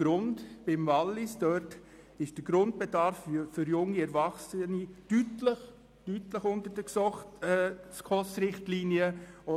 Im Kanton Wallis befindet sich der Grundbedarf für junge Erwachsene deutlich unter den SKOS-Richtlinien.